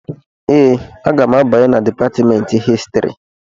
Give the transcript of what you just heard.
Ee, aga m abanye na Dipatmentị Histrị